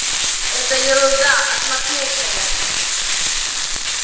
это ерунда отмахнулся я